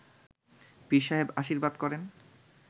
পীরসাহেব আশীর্বাদ করেন